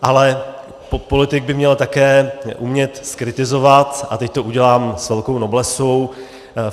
Ale politik by měl umět také zkritizovat a teď to udělám s velkou noblesou.